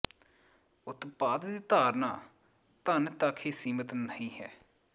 ਉਤਪਾਦ ਦੀ ਧਾਰਨਾ ਧਨ ਤੱਕ ਹੀ ਸੀਮਿਤ ਨਹੀ ਹੈ